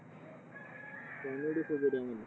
Comedy खूप आहे त्यामध्ये